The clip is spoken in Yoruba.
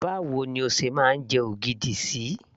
báwo ni o ṣe máa ń jẹ ogidi sí